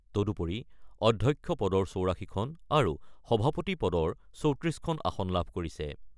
তদুপৰি অধ্যক্ষ পদৰ ৮৪ খন আৰু সভাপতি পদৰ ৩৪ খন আসন লাভ কৰিছে ।